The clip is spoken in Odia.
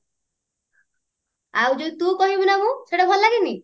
ଆଉ ଯୋଉ ତୁ କହିବୁ ନା ମୁଁ ସେଟା ଭଲ ଲାଗେନି